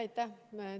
Aitäh!